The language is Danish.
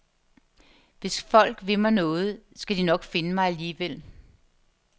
Hvis folk vil mig noget, skal de nok finde mig alligevel.